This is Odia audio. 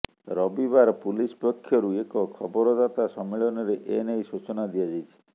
ରବିବାର ପୁଲିସ ପକ୍ଷରୁ ଏକ ଖବରଦାତା ସମ୍ମିଳନୀରେ ଏ ନେଇ ସୂଚନା ଦିଆଯାଇଛି